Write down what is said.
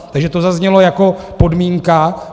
Takže to zaznělo jako podmínka.